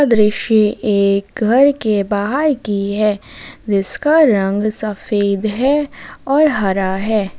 दृश्य एक घर के बाहर की है जिसका रंग सफेद है और हरा है।